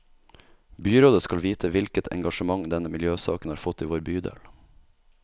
Byrådet skal vite hvilket engasjement denne miljøsaken har fått i vår bydel.